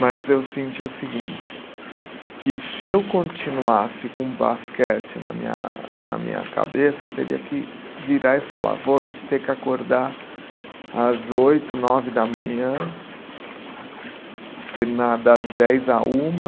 Mas eu senti o seguinte, que se eu continuasse com basquete na minha na minha cabeça, eu teria que virar e falar, vou ter que acordar às oito, nove da manhã, terminar das dez a uma.